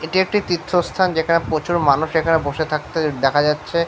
এটি একটি তীর্থস্থান। যেখানে প্রচুর মানুষ এখানে বসে থাকতে দেখা যাচ্ছে।